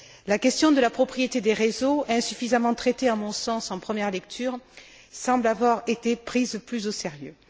La question de la propriété des réseaux, insuffisamment traitée à mon sens en première lecture, semble avoir été prise plus au sérieux.